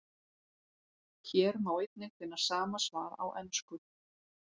Hér má einnig finna sama svar á ensku.